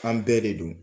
An bɛɛ de don